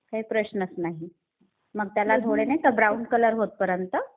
काही प्रश्नच नाही. मग त्याला थोडे ब्राउन कलर होतपर्यंत...